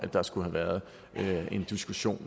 der skulle have været en diskussion